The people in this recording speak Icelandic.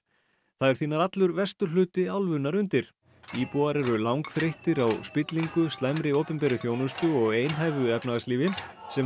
það er því nær allur vesturhluti álfunnar undir íbúar eru langþreyttir á spillingu slæmri opinberri þjónustu og einhæfu efnahagslífi sem